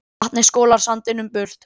Vatnið skolar sandinum burt